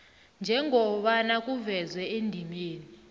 njengobana kuvezwe endimeni